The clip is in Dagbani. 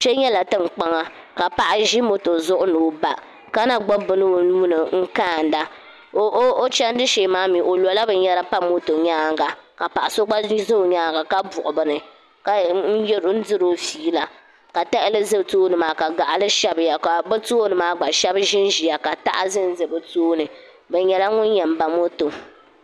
Kpe nyɛla tinkpaŋa ka paɣa ʒi moto zuɣu ni o ba ka na gbubi bini o nuu ni n kaanda o chandi shee maa mi o lo la?bin yara pa moto nyaanga ka paɣa so gba za o nyaanga ka buɣi bini ka diri o fiila ka tahali za tooni maa ka gaɣali shabi ya ka bi tooni maa gba shɛba ʒi n ʒiya ka taha za n za bi tooni bi nyɛla ŋun yɛn ba moto.